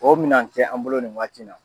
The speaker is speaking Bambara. O minan tɛ an bolo nin waati in na.